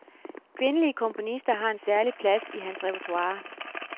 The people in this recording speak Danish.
Kvindelige komponister har en særlig plads i hans repertoire.